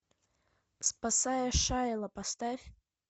спасая шайло поставь